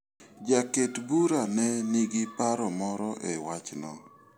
Jaket bura ne nigi paro moro e wachno.